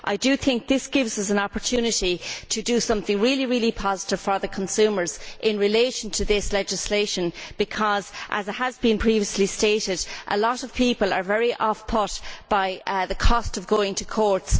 I think this gives us an opportunity to do something really positive for consumers in relation to this legislation because as has been previously stated a lot of people are very put off by the cost of going to court.